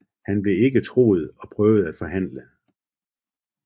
Han blev ikke troet og prøvede at forhandle